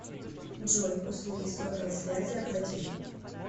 джой услуги сотовой связи оплатить